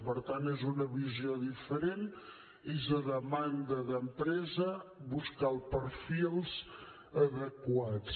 per tant és una visió diferent és a demanda d’empresa buscar els perfils adequats